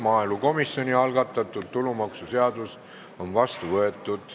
Maaelukomisjoni algatatud tulumaksuseaduse muutmise seadus on vastu võetud.